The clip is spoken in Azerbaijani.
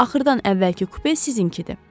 Axırdan əvvəlki kupe sizinkidir.